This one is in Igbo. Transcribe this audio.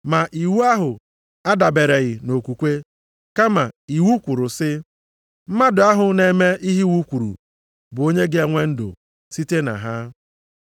Ma iwu ahụ adabereghị nʼokwukwe, kama, iwu kwuru sị, “Mmadụ ahụ na-eme ihe iwu kwuru bụ onye ga-enwe ndụ site na ha.” + 3:12 \+xt Lev 18:5\+xt*